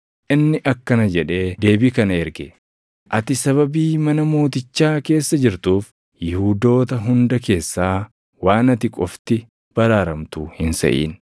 inni akkana jedhee deebii kana erge: “Ati sababii mana mootichaa keessa jirtuuf Yihuudoota hunda keessaa waan ati qofti baraaramtu hin seʼin.